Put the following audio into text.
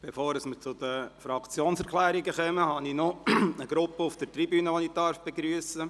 Bevor wir zu den Fraktionserklärungen kommen, darf ich eine Gruppe auf der Tribüne begrüssen.